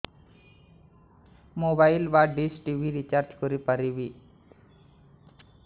mobile ବା dish TV recharge କରି ପାରିବି